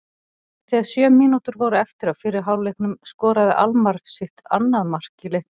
Þegar sjö mínútur voru eftir af fyrri hálfleiknum skoraði Almarr sitt annað mark í leiknum.